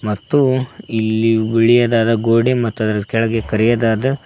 ಮತ್ತು ಇಲ್ಲಿ ಬಿಳಿಯದಾದ ಗೋಡೆ ಮತ್ತು ಅದರ ಕೆಳಗೆ ಕರಿಯದಾದ --